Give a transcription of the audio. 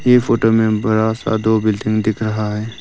ये फोटो में बरा सा दो बिल्डिंग दिख रहा है।